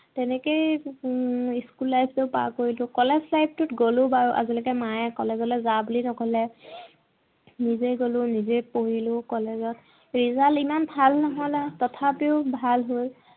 তেনেকেই উম school life টো পাৰ কৰিলো। college life টোত গলো বাৰু। আজিলৈকে মায়ে college লে যা বুলি নকলে। নিজে গলো নিজেই পঢ়িলো college ত। result ইমান ভাল নহল আৰু। তথাপিও ভাল হল।